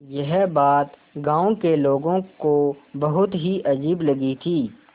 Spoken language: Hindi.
यह बात गाँव के लोगों को बहुत ही अजीब लगी थी